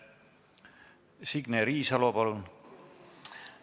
Signe Riisalo, palun!